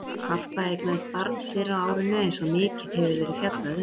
Harpa eignaðist barn fyrr á árinu eins og mikið hefur verið fjallað um.